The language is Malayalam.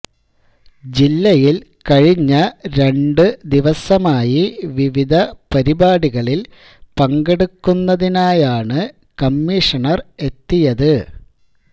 ജില്ലയില് കഴിഞ്ഞ രണ്ട് ദിവസമായി വിവിധ പരിപാടികളില് പങ്കെടുക്കുന്നതിനായാണ് കമ്മീഷണര് എത്തിയത്